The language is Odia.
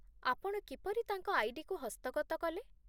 ଆପଣ କିପରି ତାଙ୍କ ଆଇ.ଡି.କୁ ହସ୍ତଗତ କଲେ?